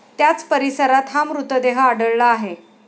त्याच परिसरात हा मृतदेह आढळला आहे.